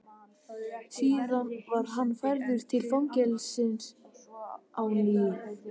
Síðan var hann færður til fangelsisins á ný.